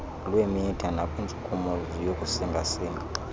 lwemitha nakwintshukumo yokusingasinga